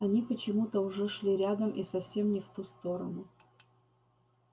они почему-то уже шли рядом и совсем не в ту сторону